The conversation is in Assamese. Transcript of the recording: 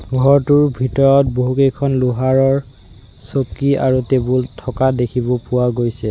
ঘৰটোৰ ভিতৰত বহুকেইখন লোহাৰৰ চকী আৰু টেবুল থকা দেখিব পোৱা গৈছে।